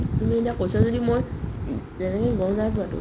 তুমি এতিয়া কৈছা যদি মই অ তেনেকে গম নাই পোৱাতো